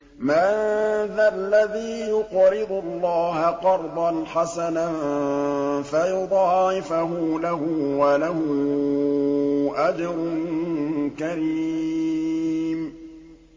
مَّن ذَا الَّذِي يُقْرِضُ اللَّهَ قَرْضًا حَسَنًا فَيُضَاعِفَهُ لَهُ وَلَهُ أَجْرٌ كَرِيمٌ